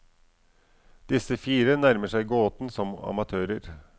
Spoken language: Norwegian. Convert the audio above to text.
Disse fire nærmer seg gåten som amatører.